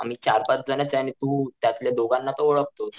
आम्ही चर पाच जणच आणि तू त्यातल्या दोघांना तर ओळखतॊस.